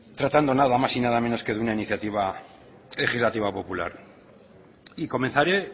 tratando nada más y nada menos que de una iniciativa legislativa popular y comenzaré